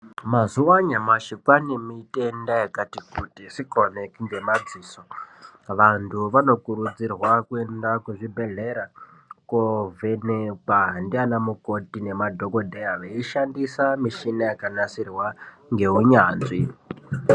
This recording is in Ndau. Mazuwa anyamashi kwaane mitenda yakati kuti, isikaoneki ngemadziso. Vantu vanokurudzirwa kuenda kuzvibhedhlera , koovhenekwa ndianamukoti nemadhokodheya, veishandisa mishina yakanasirwa ngeunyanzvi.